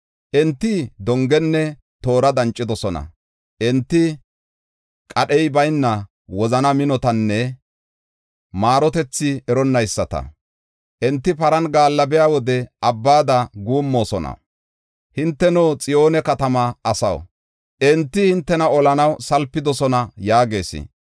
Enti dongenne toora dancidosona; enti qadhey bayna wozana minotanne maarotethi eronnayisata. Enti paran gaallabiya wode abbada guummoosona. Hinteno, Xiyoone katama asaw, enti hintena olanaw salpidosona” yaagees.